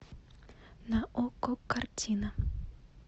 на окко картина